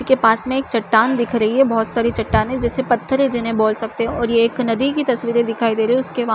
के पास में एक चट्टान दिख रही है बहोत सारी चट्टानें जिसे पत्थरे जिन्हे बोल सकते है और ये एक नदी की तस्वीरे दिखाई दे रही है उसके पास--